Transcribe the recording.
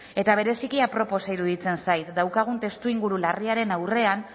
eta bereziki aproposa iruditzen zait daukagun testuinguru larriaren aurrean